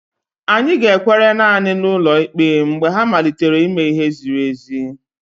Anyị ga-ekwere naanị na ụlọ ikpe mgbe ha malitere ime ihe ziri ezi.